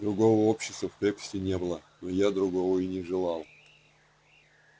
другого общества в крепости не было но я другого и не желал